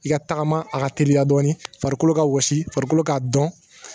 I ka tagama a ka teriya dɔɔnin farikolo ka wɔsi farikolo k'a dɔn